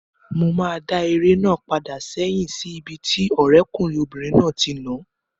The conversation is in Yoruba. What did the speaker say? Mo máa dá eré náà padà sẹ́hìn sí ibi tí ọ̀rẹ́kùnrin obìnrin náà ti nàá